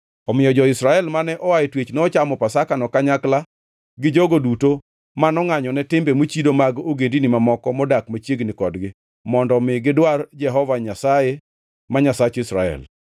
Omiyo jo-Israel mane oa e twech nochamo Pasakano, kanyakla gi jogo duto mano ngʼanyone timbe mochido mag ogendini mamoko modak machiegni kodgi mondo omi gidwar Jehova Nyasaye, ma Nyasach Israel.